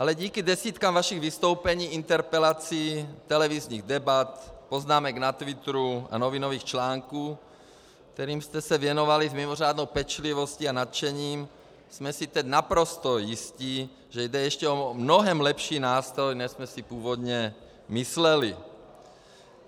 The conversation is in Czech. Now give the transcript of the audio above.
Ale díky desítkám vašich vystoupení, interpelací, televizních debat, poznámek na twitteru a novinových článků, kterým jste se věnovali s mimořádnou pečlivostí a nadšením, jsme si teď naprosto jistí, že jde ještě o mnohem lepší nástroj, než jsme si původně mysleli. .